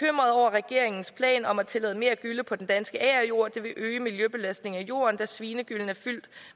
regeringens plan om at tillade mere gylle på den danske agerjord det vil øge miljøbelastningen af jorden da svinegyllen er fyldt